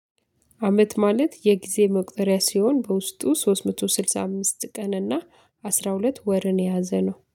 አመት ማለት የጊዜ መቁጠሪያ ሲሆን በውስጡ ሶስት መቶ ስድሳ አምስት ቀን እና አስራ ሁለት ወርን የያዘ ነው